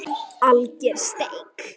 Alger steik.